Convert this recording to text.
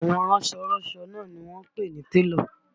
Àwọn ránsọ ránsọ náà ni wọ́n ń pè ní télọ̀